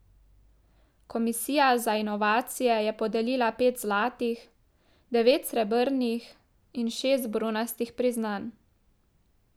Komisija za inovacije je podelila pet zlatih, devet srebrnih in šest bronastih priznanj.